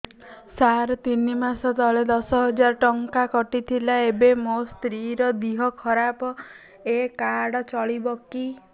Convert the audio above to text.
ସାର ତିନି ମାସ ତଳେ ଦଶ ହଜାର ଟଙ୍କା କଟି ଥିଲା ଏବେ ମୋ ସ୍ତ୍ରୀ ର ଦିହ ଖରାପ ଏ କାର୍ଡ ଚଳିବକି